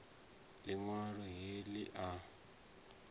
liṋ walo he li a